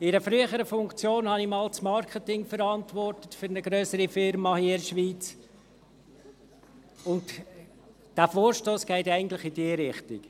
In einer früheren Funktion habe ich einmal das Marketing für eine grössere Firma hier in der Schweiz verantwortet, und der Vorstoss geht eigentlich in diese Richtung: